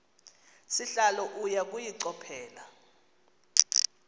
sihlalo uya kuyichophela